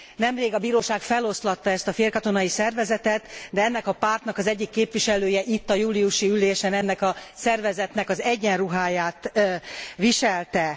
Nemrég a bíróság feloszlatta ezt a félkatonai szervezetet, de ennek a pártnak az egyik képviselője itt a júliusi ülésen ennek a szervezetnek az egyenruháját viselte.